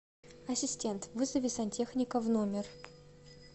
ассистент вызови сантехника в номер